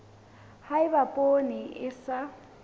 ha eba poone e sa